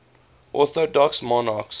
orthodox monarchs